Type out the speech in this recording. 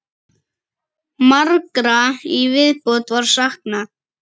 Margra í viðbót var saknað.